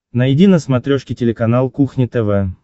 найди на смотрешке телеканал кухня тв